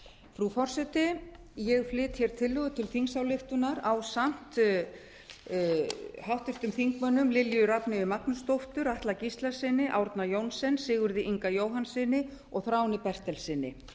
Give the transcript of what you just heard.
frú forseti ég flyt hér tillögu til ingsályktuanr ásamt háttvirtum þingmönnum lilju rafneyju magnúsdóttur atla gíslasyni árna johnsen sigurði inga jóhannssyni og þráni bertelssyni